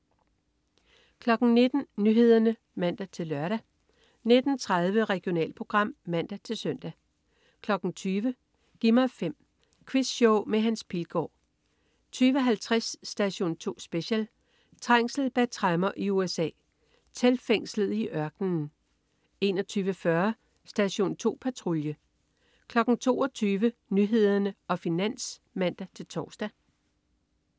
19.00 Nyhederne (man-lør) 19.30 Regionalprogram (man-søn) 20.00 Gi' mig 5. Quizshow med Hans Pilgaard 20.50 Station 2 Special: Trængsel bag tremmer i USA. Teltfængslet i ørkenen 21.40 Station 2 Patrulje 22.00 Nyhederne og Finans (man-tors)